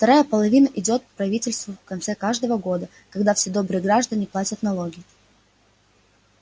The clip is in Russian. вторая половина идёт к правительству в конце каждого года когда все добрые граждане платят налоги